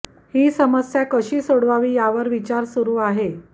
ही समस्या कशी सोडवावी यावर विचार सुरू आहे